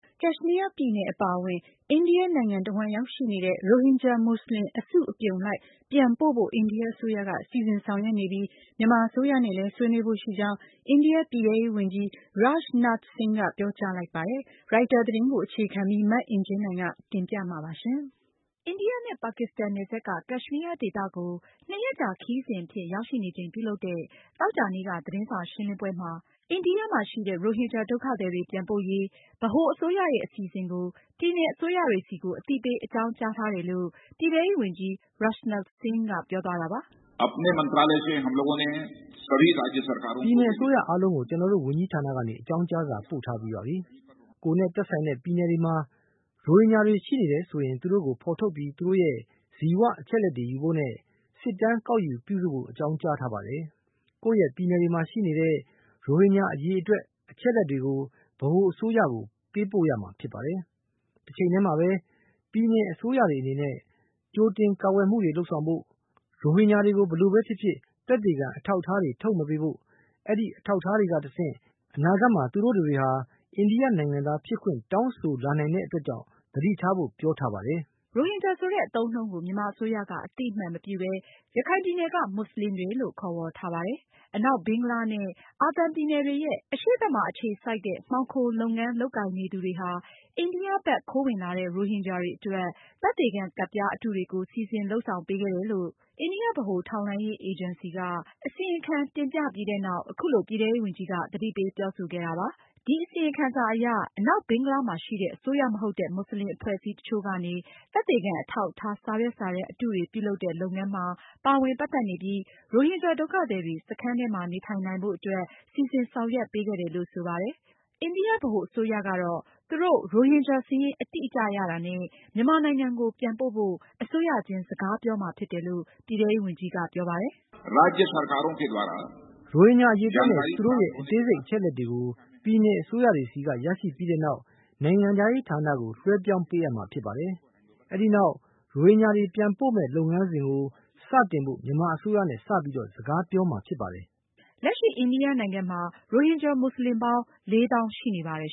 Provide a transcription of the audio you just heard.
ကက်ရှ်မီးယား ပြည်နယ် အပါအဝင် အိန္ဒိယနိုင်ငံတဝှမ်း ရောက်ရှိနေတဲ့ ရိုဟင်ဂျာမွတ်စလင်တွေကို အစုလိုက်အပြုံလိုက် ပြန်ပို့ဖို့ အိန္ဒိယအစိုးရက စီစဉ်ဆောင်ရွက်နေပြီး မြန်မာအစိုးရနဲ့လည်း ဆွေးနွေးဖို့ရှိကြောင်း အိန္ဒိယ ပြည်ထဲရေးဝန်ကြီး Rajnath Singh ကပြောကြားလိုက်ပါတယ်။ ရိုက်တာ သတင်းအခြေခံပြီး မအင်ကြင်းနိုင်က တင်ပြမှာပါ။ အိန္ဒိယနဲ့ ပါကစ္စတန်နယ်စပ်က ကက်ရှ်မီးယားဒေသကို နှစ်ရက်ကြာ ခရီးစဉ်အဖြစ် ရောက်ရှိနေချိန်ပြုလုပ်တဲ့ သောကြာနေ့က သတင်းစာရှင်းလင်းပွဲမှာ အိန္ဒိယမှာ ရှိတဲ့ ရိုဟင်ဂျာဒုက္ခသည်တွေ ပြန်ပို့ရေး ဗဟိုအစိုးရရဲ့ အစီအစဉ်ကို ပြည်နယ်အစိုးရတွေဆီကို အသိပေးအကြောင်းကြားထားတယ်လို့ ပြည်ထဲရေးဝန်ကြီး Rajnath Singh ကပြောသွားတာပါ။ "ပြည်နယ်အစိုးရအားလုံးကို ကျနော်တို့ ဝန်ကြီးဌာနကနေ အကြောင်းကြားစာပို့ထားပြီးပါပြီ။ ကိုယ်နဲ့ သက်ဆိုင်တဲ့ ပြည်နယ်တွေမှာ ရိုဟင်ဂျာတွေ ရှိနေတယ်ဆိုရင် သူတို့ကို ဖေါ်ထုတ်ပြီး သူတို့ရဲ့ ဇီဝအချက်အလက်တွေယူဖို့နဲ့ စစ်တမ်းကောက်ယူပြုစုဖို့ အကြောင်းကြားထားပါတယ်။ ကိုယ့်ရဲ့ပြည်နယ်တွေမှာရှိနေတဲ့ ရိုဟင်ဂျာအရေအတွက် အချက်အလက်တွေကို ဗဟိုအစိုးရကို ပေးပို့ရမှာဖြစ်ပါတယ်။ တချိန်တည်းမှာပဲ ပြည်နယ်အစိုးရတွေအနေနဲ့ ကြိုတင်ကာကွယ်မှုတွေလုပ်ဆောင်ဖို့၊ ရိုဟင်ဂျာတွေကို ဘယ်လိုပဲဖြစ်ဖြစ် သက်သေခံအထောက်အထားတွေ ထုတ်မပေးဖို့ အဲဒီအထောက်အထားတွေကတဆင့် အနာဂတ်မှာ သူတို့တွေဟာ အိန္ဒိယ နိုင်ငံသားဖြစ်ခွင့် တောင်းဆိုလာနိုင်တဲ့အတွက်ကြောင့် သတိထားဖို့ ပြောထားပါတယ်။" ရိုဟင်ဂျာ ဆိုတဲ့ အသုံးအနှုန်းကို မြန်မာအစိုးရက အသိအမှတ်မပြုပဲ ရခိုင်ပြည်နယ်က မွတ်စလင် အသိုင်းအဝိုင်းလို့ ခေါ်ဝေါ်ထားပါတယ်။ အနောက်ဘင်္ဂလားနဲ့ အာသံ ပြည်နယ်တွေရဲ့ အရှေ့ဘက်မှာအခြေစိုက်တဲ့ မှောင်ခိုလုပ်ငန်းလုပ်ကိုင်နေသူတွေဟာ အိန္ဒိယဘက် ခိုးဝင်လာတဲ့ ရိုဟင်ဂျာတွေအတွက် သက်သေခံကဒ်ပြားအတုတွေကို စီစဉ်လုပ်ဆောင်ပေးခဲ့တယ်လို့ အိန္ဒိယဗဟို ထောက်လှမ်းရေး အေဂျင်စီက အစီရင်ခံထုတ်ပြန်ခဲ့ပြီးနောက် အခုလို ပြည်ထဲရေးဝန်ကြီးက သတိပေးပြောဆိုခဲ့တာဖြစ်ပါတယ်။ ဒီအစီရင်ခံစာအရ အနောက်ဘင်္ဂလားမှာရှိတဲ့ အစိုးရမဟုတ်တဲ့ မွတ်စလင်အဖွဲ့အစည်းတချို့ကနေ သက်သေခံအထောက်အထား စာရွက်စာတမ်း အတုတွေပြုလုပ်တဲ့လုပ်ငန်းမှာ ပါဝင်ပတ်သက်နေပြီး ရိုဟင်ဂျာဒုက္ခသည်တွေ စခန်းထဲမှာ နေထိုင်နိုင်ဖို့အတွက် စီစဉ်ဆောင်ရွက်ပေးခဲ့တယ်လို့ ဆိုပါတယ်။ အိန္ဒိယဗဟိုအစိုးရတော့ ရိုဟင်ဂျာဒုက္ခသည်စာရင်းအတိအကျရတာနဲ့ မြန်မာနိုင်ငံကိုပြန်ပို့ဖို့ အစိုးရချင်း စကားပြောမှာဖြစ်တယ်လို့ ပြည်ထဲရေးဝန်ကြီးကပြောပါတယ်။ "ရိုဟင်ဂျာ အရေအတွက်နဲ့ သူတို့ရဲ့ အသေးစိတ်အချက်အလက်တွေကို ပြည်နယ်အစိုးရတွေဆီက ရရှိပြီးတဲ့နောက် နိုင်ငံခြားရေးဌာနကို လွဲှပြောင်းပေးအပ်မှာပါ။ အဲဒီနောက် ရိုဟင်ဂျာတွေ ပြန်ပို့မယ့် လုပ်ငန်းစဉ်ကို စတင်ဖို့ မြန်မာအစိုးရနဲ့ စပြီး စကားပြောမှာဖြစ်ပါတယ်။" အိန္ဒိယနိုင်ငံမှာ လက်ရှိ ရိုဟင်ဂျာမွတ်စလင် ၄၀,၀၀၀ ရှိနေပါတယ်